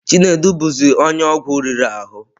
Chinedu bụzi onye ọgwụ riri ahụ.